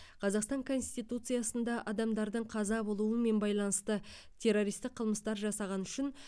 қазақстан конституциясында адамдардың қаза болуымен байланысты террористік қылмыстар жасағаны үшін